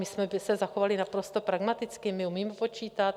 My jsme se zachovali naprosto pragmaticky, my umíme počítat.